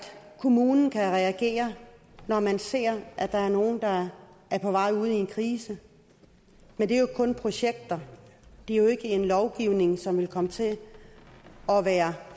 kommunen kan reagere når man ser at der er nogle der er på vej ud i en krise men det er jo kun projekter det er jo ikke en lovgivning som vil komme til at være